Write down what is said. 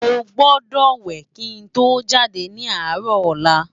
Mó gbòdò wè ki n tó jádé ni árò òlà